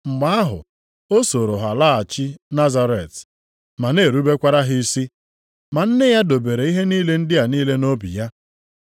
Mgbe ahụ, o sooro ha laghachi Nazaret ma na-erubekwara ha isi. Ma nne ya dobere ihe ndị a niile nʼobi ya.